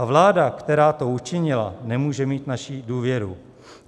A vláda, která to učinila, nemůže mít naší důvěru.